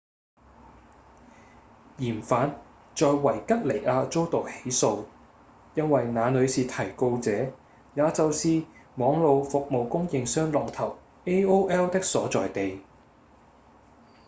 嫌犯在維吉尼亞遭到起訴因為那裡是提告者也就是網路服務供應商龍頭 aol 的所在地